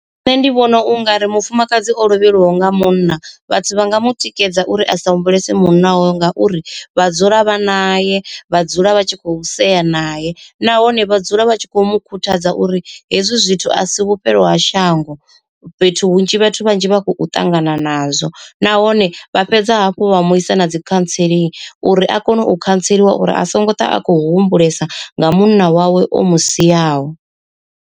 Nṋe ndi vhona ungari mufumakadzi o lovheliwaho nga munna vhathu vha nga mu tikedza uri asa humbulese munna wawe ngauri vha dzula vha naye, vha dzula vha tshi khou sea naye nahone vha dzula vha tshi kho mu khuthadza uri hezwi zwithu a si vhufhelo ha shango. Fhethu hunzhi vhathu vhanzhi vha khou ṱangana nazwo, nahone vha fhedza hafhu vha mu isa na dzi khantseling uri a kone u khantseliwa uri a songo ṱwa a khou humbulesa nga munna wawe o mu siaho.